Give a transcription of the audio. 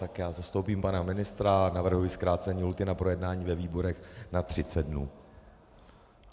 Tak já zastoupím pana ministra a navrhuji zkrácení lhůty na projednání ve výborech na 30 dnů.